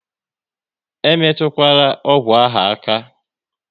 E metukwala ọgwụ ahụ aka!